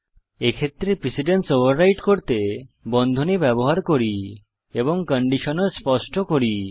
এক্ষেত্রে precedence overwrite করতে বন্ধনী ব্যবহার করি এবং কন্ডিশন ও স্পষ্ট করি